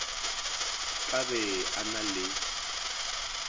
ka be a na le